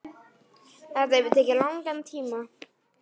Þetta hefur tekið langan tíma.